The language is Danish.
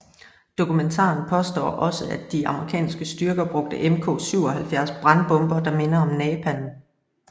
Dokumentaren påstår også at de amerikanske styrker brugte Mk 77 brandbomber der minder om napalm